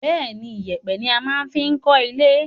Bẹ́ẹ̀ni, ìyẹ̀pẹ̀ ni a máa fi kọ́le.